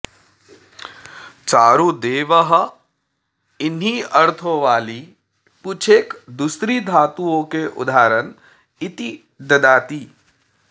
चारुदेवः इन्हीं अर्थों वाली कुछ एक दूसरी घातुओं के उदाहरण इति ददाति